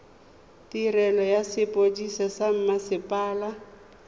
tirelo ya sepodisi sa mmasepala